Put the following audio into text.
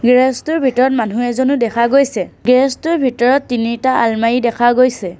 Garage টোৰ ভিতৰত মানুহ এজনো দেখা গৈছে গেৰেজ টোৰ ভিতৰত তিনিটা আলমাৰি দেখা গৈছে।